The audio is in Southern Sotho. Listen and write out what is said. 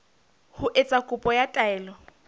ho etsa kopo ya taelo